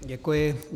Děkuji.